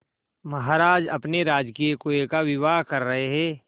महाराज अपने राजकीय कुएं का विवाह कर रहे